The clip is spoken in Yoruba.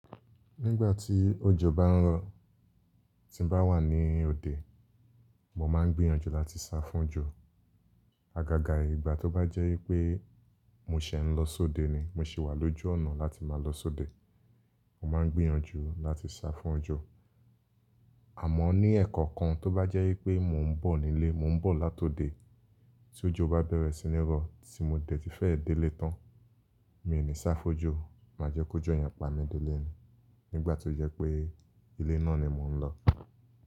Nígbà tí òjò bá ń rọ̀, tí n bá wà ní òde, mo máa ń gbìyànjú láti sá fún òjò. Agaga ìgbà tó bá jẹ́ wípé mo ṣẹ̀ ń lọ sóde ni, mo ṣé wà lójú ọ̀nà láti máa lọ sóde, mo máa ń gbìyànjú láti sá fún òjò. Àmọ́ ní ẹ̀kọ̀kan tó bá jẹ́ wípé mò ń bọ̀ nílé, mò ń bọ̀ látòde, tí òjò bá bẹ̀rẹ̀ sí ní rọ, tí mo dẹ̀ ti fẹ́ dé lé tán, mi ò ní sá fójò. Máa jẹ́ kó jò yẹn pa mi dé lé ni, nígbà tó jẹ́ pé ilé náà ni mò ń lọ.